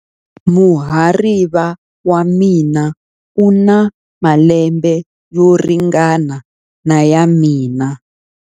Muhariva wa mina u na malembe yo ringana na ya mina.